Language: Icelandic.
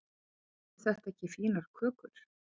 eru þetta ekki fínar kökur